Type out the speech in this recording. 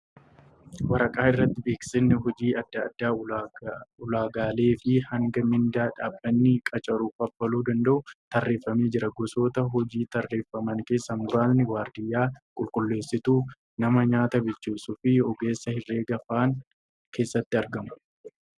Waraqaa irratti beeksisni hojii adda addaa ulaagaalee fi hanga mindaa dhaabbanni qacaru kaffaluu danda'uu tarreeffamee jira. Gosoota hojii tarreeffaman keessaa muraasni waardiyyaa, qulqulleessituu , nama nyaata bilcheessuufi ogeessa herreegaa faan keessatti argamu.